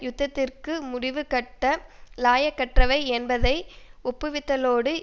யுத்தத்திற்கு முடிவுகட்ட இலாயக்கற்றவை என்பதை ஒப்புவித்துள்ளதோடு